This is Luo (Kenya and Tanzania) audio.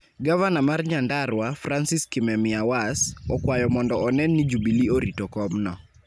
Gavana mar Nyandarua, Francis Kimemiawas, okwayo mondo onen ni Jubilee orito komno.